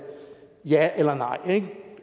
ja eller nej det